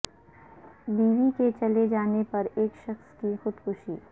بیوی کے چلے جانے پر ایک شخص کی خودکشی